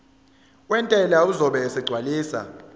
wentela uzobe esegcwalisa